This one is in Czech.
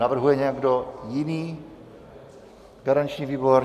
Navrhuje někdo jiný garanční výbor?